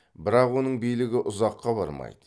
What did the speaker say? бірақ оның билігі ұзаққа бармайды